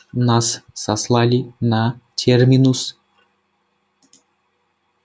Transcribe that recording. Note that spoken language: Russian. нас сослали на терминус